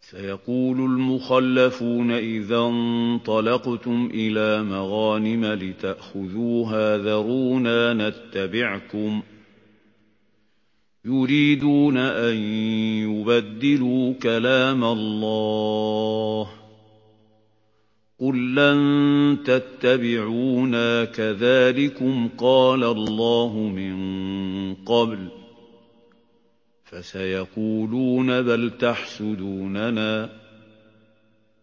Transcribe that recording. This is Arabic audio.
سَيَقُولُ الْمُخَلَّفُونَ إِذَا انطَلَقْتُمْ إِلَىٰ مَغَانِمَ لِتَأْخُذُوهَا ذَرُونَا نَتَّبِعْكُمْ ۖ يُرِيدُونَ أَن يُبَدِّلُوا كَلَامَ اللَّهِ ۚ قُل لَّن تَتَّبِعُونَا كَذَٰلِكُمْ قَالَ اللَّهُ مِن قَبْلُ ۖ فَسَيَقُولُونَ بَلْ تَحْسُدُونَنَا ۚ